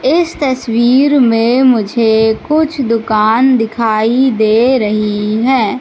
इस तस्वीर में मुझे कुछ दुकान दिखाई दे रही हैं।